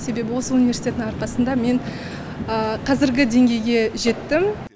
себебі осы университеттің арқасында мен қазіргі деңгейге жеттім